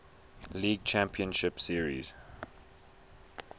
league championship series